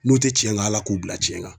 N'u tɛ tiɲɛ kan ala k'u bila cɛnna.